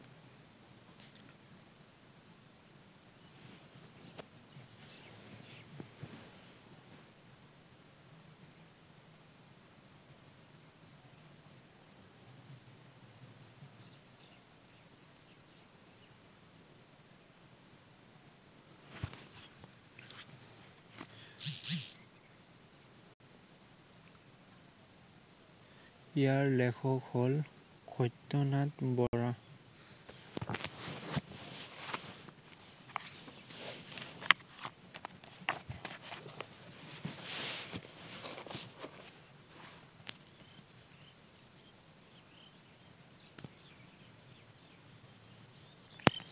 ইয়াৰ লেখক হল সত্য় নাৰায়ণ বৰা।